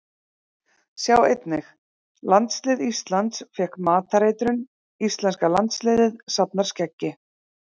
Sjá einnig: Landslið Íslands fékk matareitrun Íslenska landsliðið safnar skeggi